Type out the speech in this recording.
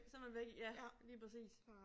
Så man væk ja lige præcis